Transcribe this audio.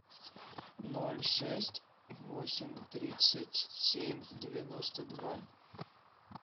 ноль шесть восемь тридцать семь девяносто два